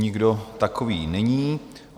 Nikdo takový není.